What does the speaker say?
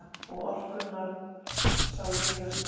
Og orkunnar sá víða stað.